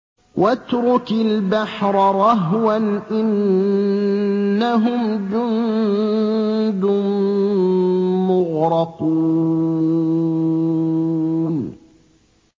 وَاتْرُكِ الْبَحْرَ رَهْوًا ۖ إِنَّهُمْ جُندٌ مُّغْرَقُونَ